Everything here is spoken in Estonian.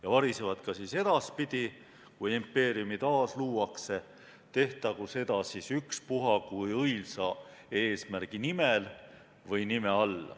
Ja varisevad ka edaspidi, kui impeeriume taasluuakse, tehtagu seda ükspuha kui õilsa eesmärgi nimel või nime all.